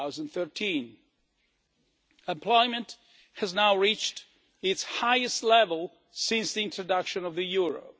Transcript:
2013. Employment has now reached its highest level since the introduction of the euro.